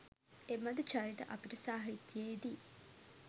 එබඳු චරිත අපට සාහිත්‍යයේ දී